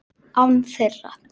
Án þeirra.